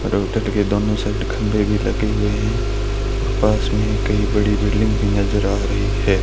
के दोनों साइड खंभे भी लगे हुए हैं और पास में कई बड़ी बिल्डिंग भी नजर आ रही है।